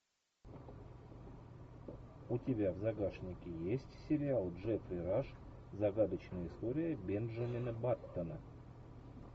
у тебя в загашнике есть сериал джеффри раш загадочная история бенджамина баттона